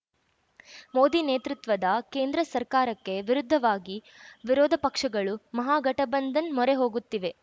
ಮೋದಿ ನೇತೃತ್ವದ ಕೇಂದ್ರ ಸರ್ಕಾರಕ್ಕೆ ವಿರುದ್ಧವಾಗಿ ವಿರೋಧ ಪಕ್ಷಗಳು ಮಹಾಗಠಬಂಧನ್ ಮೊರೆ ಹೋಗುತ್ತಿವೆ